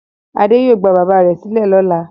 Adé yóò gba bàbá rẹ̀ sílẹ̀ lọ́la.